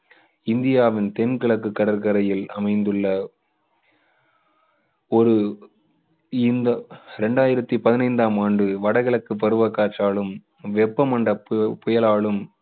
இந்தியாவின் தென்கிழக்கு கடற்கரையில் அமைந்துள்ள ஒரு இந்த இரண்டாயிரத்து பதினைந்தாம் ஆண்டு வடக்கிழக்கு பருவக்காற்றாலும் வெப்பமண்டல புயலாலும்